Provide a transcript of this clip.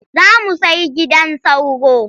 Za mu sai gidan sauro.